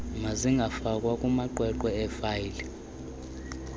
mazingafakwa kumaqweqwe eefayile